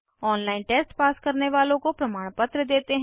online test pass करने वालों को प्रमाणपत्र देते हैं